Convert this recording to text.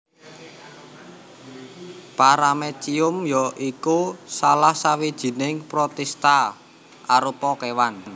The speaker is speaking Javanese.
Paramecium ya iku salah sawijining protista arupa kéwan